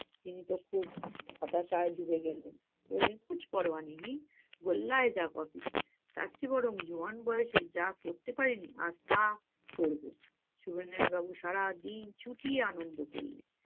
তিনি তখন হতাশায় ডুবে গেলেন বললেন গোল্লায় যাক office তারচেয়ে বরং জোয়ান বয়সে যা করতে পারি নি আজ তা করব। সবিনয় বাবু সারাদিন চুটিয়ে আনন্দ করলেন।